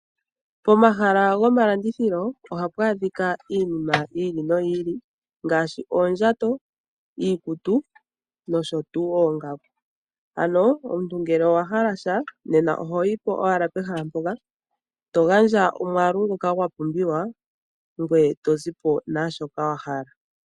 Pomahala gomalandithilo ohapu adhika iinima yi ili noyi ili ngaashi, ondjato, iikutu noshowo oongaku. Omuntu ngele owahala sha, ohoyipo owala pehala mpoka, to gandja omwaalu ngoka wa pumbiwa, ngoye tozipo naashoka wahala